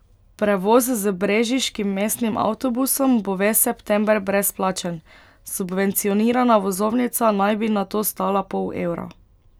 Prevoz z brežiškim mestnim avtobusom bo ves september brezplačen, subvencionirana vozovnica naj bi nato stala pol evra.